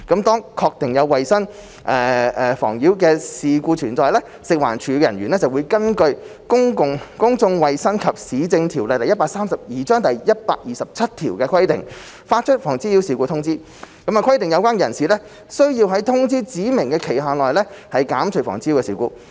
當確定有衞生妨擾事故存在，食環署人員會根據《公眾衞生及市政條例》第127條的規定，發出《妨擾事故通知》，規定有關人士須在通知指明期限內減除妨擾事故。